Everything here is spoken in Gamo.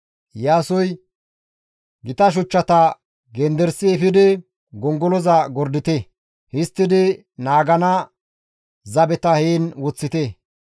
Iyaasoy, «Gita shuchchata genderisi efidi gongoloza gordite; histtidi naagana zabeta heen woththite.